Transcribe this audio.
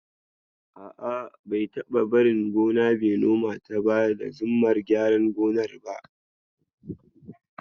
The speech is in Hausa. A'a, bai taba barin gona bai nomata ba da zimmar gyaran gonar ba.